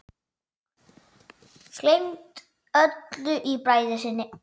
Gleymt öllu í bræði sinni.